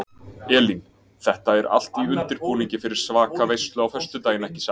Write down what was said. Elín: Þetta er allt í undirbúningi fyrir svaka veislu á föstudaginn ekki satt?